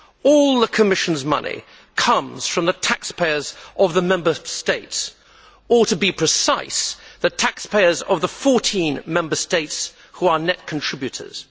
All the Commission's money comes from the taxpayers of the Member States or, to be precise, the taxpayers of the 14 Member States which are net contributors.